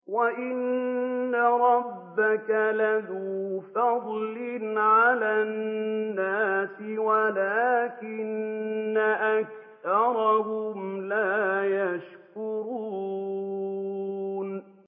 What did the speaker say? وَإِنَّ رَبَّكَ لَذُو فَضْلٍ عَلَى النَّاسِ وَلَٰكِنَّ أَكْثَرَهُمْ لَا يَشْكُرُونَ